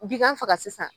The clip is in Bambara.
Bigan faga sisan